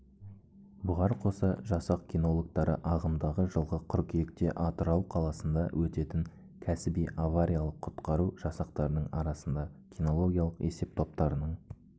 бұғар қоса жасақ кинологтары ағымдағы жылғы қыркүйекте атырау қаласында өтетін кәсіби авариялық-құтқару жасақтарының арасында кинологиялық есептоптарының